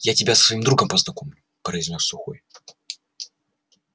я тебя со своим другом познакомлю произнёс сухой